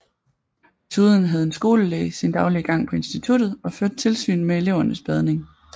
Desuden havde en skolelæge sin daglige gang på instituttet og førte tilsyn med elevernes badning